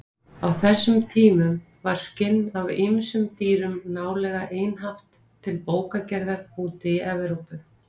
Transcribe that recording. Á þessum tímum var skinn af ýmsum dýrum nálega einhaft til bókagerðar úti í Evrópu.